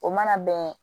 O mana bɛn